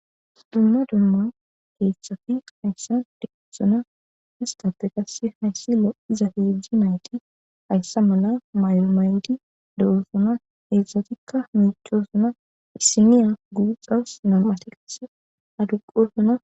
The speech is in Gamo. Dumma dumma hezhzhati isstappe lo'iza nayti hayssa mala maayo mayidi de'ossona hezhzhatika miiccosona issiniya guuxxawusu nama'ti qasse adduqqosona.